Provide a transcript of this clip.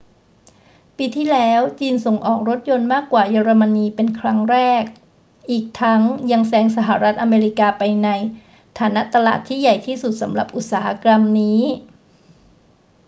ปีที่แล้วจีนส่งออกรถยนต์มากกว่าเยอรมนีเป็นครั้งแรก อีกทั้งยังแซงสหรัฐอเมริกาไปในฐานะตลาดที่ใหญ่ที่สุดสำหรับอุตสาหกรรมนี้